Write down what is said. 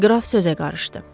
Qraf sözə qarışdı.